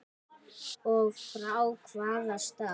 Og frá hvaða stað?